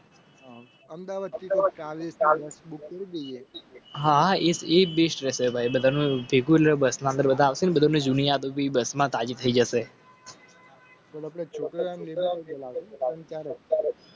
અમદાવાદ, ચાલિસાલા. હા ઈ સી બીચ. દુનિયા બી બસમાં તાજી થઇ જશે.